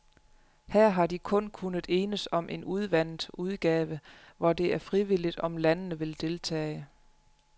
Her har de kun kunnet enes om en udvandet udgave, hvor det er frivilligt, om landene vil deltage.